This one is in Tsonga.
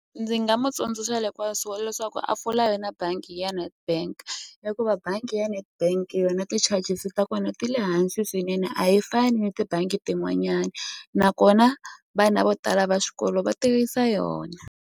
Ndzi nga mu tsundzuxa leswaku a pfula yona bangi ya Nedbank hikuva bangi ya Netbank yona ti-charges ta kona ti le hansi swinene a yi fani tibangi tin'wanyani nakona vana vo tala va swikolo va tirhisa yona.